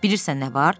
Bilirsən nə var?